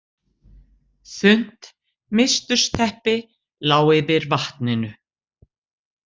Þunnt mistursteppi lá yfir vatninu.